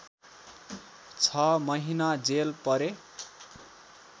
६ महिना जेल परे